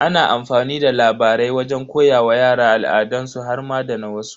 Ana amfani da labarai wajen koya wa yara al'adansu har ma da na wasu.